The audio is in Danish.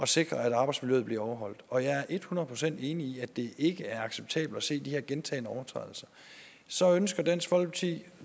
sikre at arbejdsmiljøet bliver overholdt og jeg er et hundrede procent enig i at det ikke er acceptabelt at se de her gentagne overtrædelser så ønsker dansk folkeparti